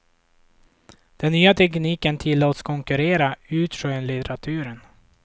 Den nya tekniken tillåts konkurrera ut skönlitteraturen.